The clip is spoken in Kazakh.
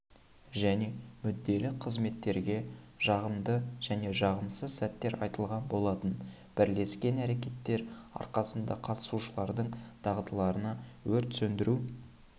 және мүдделі қызметтерге жағымды және жағымсыз сәттер айтылған болатын бірлескен әрекеттер арқасында қатысушылардың дағдыларына өрт-сөндіру